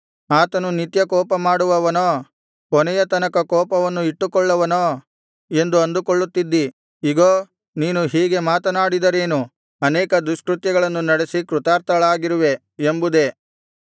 ಆತನು ನಿತ್ಯ ಕೋಪಮಾಡುವವನೋ ಕೊನೆಯ ತನಕ ಕೋಪವನ್ನು ಇಟ್ಟುಕೊಳ್ಳುವನೋ ಎಂದು ಅಂದುಕೊಳ್ಳುತ್ತಿದ್ದಿ ಇಗೋ ನೀನು ಹೀಗೆ ಮಾತನಾಡಿದರೇನು ಅನೇಕ ದುಷ್ಕೃತ್ಯಗಳನ್ನು ನಡೆಸಿ ಕೃತಾರ್ಥಳಾಗಿರುವೆ ಎಂಬುದೇ